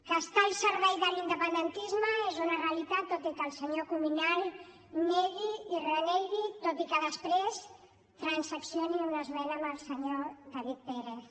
que està al servei de l’independentisme és una realitat tot i que el senyor cuminal ho negui i en renegui tot i que després transaccioni una esmena amb el senyor david pérez